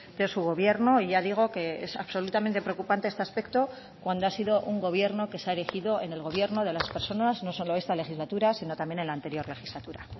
de su gobierno y ya digo que es absolutamente preocupante este aspecto cuando ha sido un gobierno que se ha erigido en el gobierno de las personas no solo esta legislatura sino también en la anterior legislatura